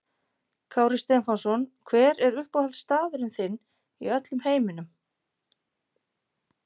Kári Stefánsson Hver er uppáhaldsstaðurinn þinn í öllum heiminum?